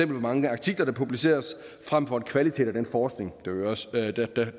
mange artikler der publiceres frem for kvaliteten af den forskning